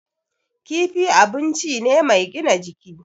Kifi abun ci ne mai gina jiki.